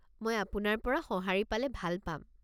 মই আপোনাৰ পৰা সঁহাৰি পালে ভাল পাম।